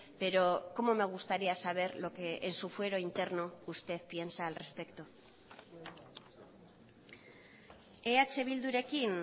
pero cómo me gustaría saber lo que en su fuero interno usted piensa al respecto eh bildurekin